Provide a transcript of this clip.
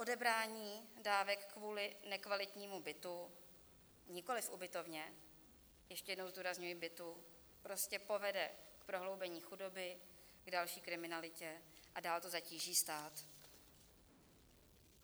Odebrání dávek kvůli nekvalitnímu bytu, nikoliv v ubytovně, ještě jednou zdůrazňuji bytu, prostě povede k prohloubení chudoby, k další kriminalitě a dál to zatíží stát.